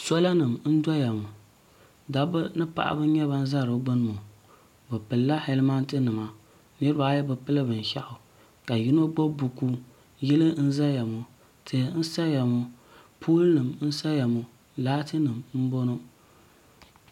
sola nim n doya ŋɔ da ba ni paɣ' ba n nyɛ ba za di gbani ŋɔ be pɛlila halimɛtɛ nima niribaayi be pɛli bɛn shɛɣ' ka yino gbabi boku yili n zaya ŋɔ tihi n saha ŋɔ polinim n saya ŋɔ lati nim n bɔŋɔ